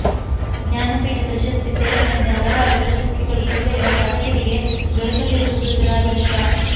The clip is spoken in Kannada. ಜ್ಞಾನಪೀಠ ಪ್ರಶಸ್ತಿ ಸೇರಿದಂತೆ ಹಲವಾರು ಪ್ರಶಸ್ತಿಗಳು ಜಿಲ್ಲೆಯ ಸಾಧಕರಿಗೆ ದೊರಕದಿರವುದು ದುರಾದೃಷ್ಟ